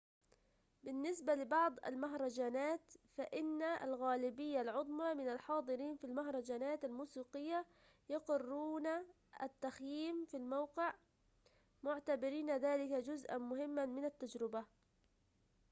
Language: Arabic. بالنسبة لبعض المهرجانات فإن الغالبية العظمى من الحاضرين في المهرجانات الموسيقية يقررون التخييم في الموقع معتبرين ذلك جزءًا مهمًا من التجربة